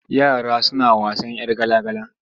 Yara suna wasan 'yar gala-gala.